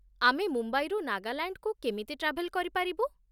ଆମେ ମୁମ୍ବାଇରୁ ନାଗାଲାଣ୍ଡକୁ କେମିତି ଟ୍ରାଭେଲ୍ କରିପାରିବୁ?